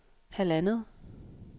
halvandet